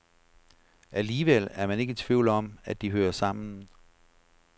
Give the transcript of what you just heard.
Alligevel er man ikke i tvivl om, at de hører sammen.